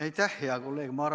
Aitäh, hea kolleeg!